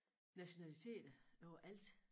Nationaliteter overalt